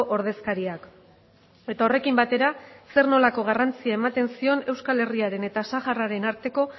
ordezkariak eta horrekin batera zer nolako garrantzia ematen zion euskal herriaren eta sahararen arteko